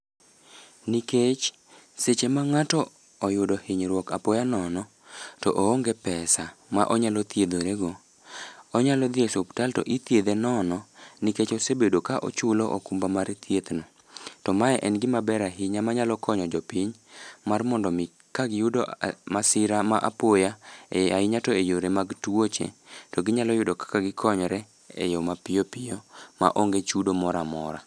Nikech, seche ma ngáto oyudo hinyruok apoya nono, to oonge pesa ma onyalo thiedhre go, onyalo dhi e suptal to ithiedhe nono, nikech osebedo ka ochulo okumba mar thieth no. To mae en gima ber ahinya manayalo konyo jopiny, mar mondo omi kagiyudo masira mar apoya e ahinya to e yore mag tuoche, to ginyalo yudo kaka gikonyore e yo ma piyo piyo ma onge chudo moramora.